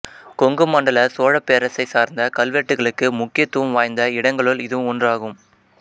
கொங்கு மண்டல சோழப் பேரரசைச் சார்ந்த கல்வெட்டுகளுக்கு முக்கியத்துவம் வாய்ந்த இடங்களுள் இதுவும் ஒன்றாகும்